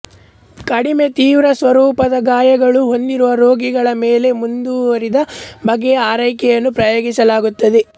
ಕಡಿಮೆ ತೀವ್ರಸ್ವರೂಪದ ಗಾಯಗಳನ್ನು ಹೊಂದಿರುವ ರೋಗಿಗಳ ಮೇಲೆ ಮುಂದುವರಿದ ಬಗೆಯ ಆರೈಕೆಯನ್ನು ಪ್ರಯೋಗಿಸಲಾಗುತ್ತದೆ